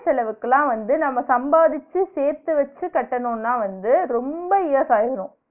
செலவுக்கு எல்லா வந்து நம்ம சம்பாதிச்சு சேத்து வச்சு கட்டனும்னா வந்து ரொம்ப years ஆயிரும்